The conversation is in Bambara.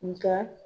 Nga